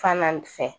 Fan fɛ